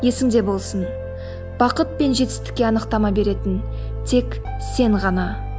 есіңде болсын бақыт пен жетістікке анықтама беретін тек сен ғана